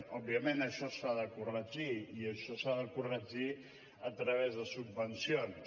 òbviament això s’ha de corregir i això s’ha de corregir a través de subvencions